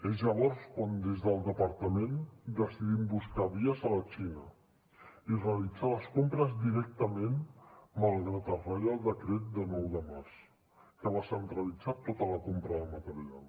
és llavors quan des del departament decidim buscar vies a la xina i realitzar les compres directament malgrat el reial decret de nou de març que va centralitzar tota la compra de material